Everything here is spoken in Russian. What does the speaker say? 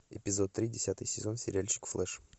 эпизод три десятый сезон сериальчик флэш